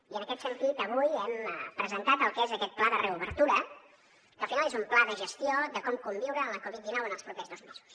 i en aquest sentit avui hem presentat el que és aquest pla de reobertura que al final és un pla de gestió de com conviure amb la covid dinou en els propers dos mesos